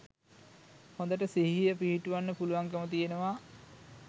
හොඳට සිහිය පිහිටුවන්න පුළුවන්කම තියෙනවා.